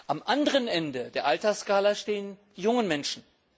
Am anderen Ende der Altersskala stehen die jungen Menschen.